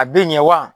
A bɛ ɲɛ wa